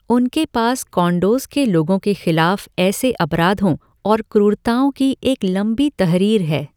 उनके पास कोंडोज़ के लोगों के खिलाफ ऐसे अपराधों और क्रूरताओं की एक लंबी तहरीर है।